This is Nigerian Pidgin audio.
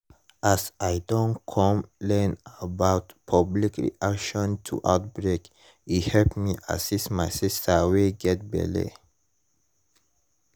as i don come learn about public reaction to outbreak e help me assist my sister wey get belle